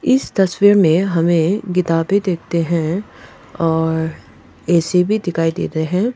इस तस्वीर में हमें किताबें देखते हैं और ए_सी भी दिखाई देते हैं।